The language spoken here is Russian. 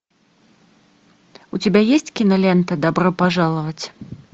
у тебя есть кинолента добро пожаловать